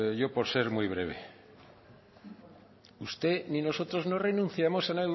yo por ser muy breve usted ni nosotros no renunciamos ni a